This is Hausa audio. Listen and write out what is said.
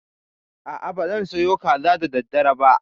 A'a, ba zan soya kaza da daddare ba.